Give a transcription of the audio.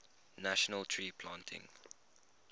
national tree planting